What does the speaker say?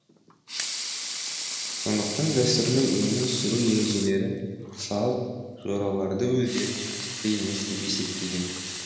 сондықтан дәстүрлі өмір сүру ережелерін салт жораларды өздеріне міндетті емес деп есептеген